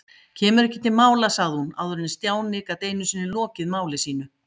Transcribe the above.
Kemur ekki til mála sagði hún áður en Stjáni gat einu sinni lokið máli sínu.